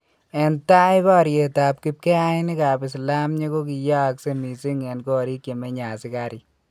En tai baryeetab kibkeyayinikab islamyeek kokiyaakse missing en koriik chemenye asikariik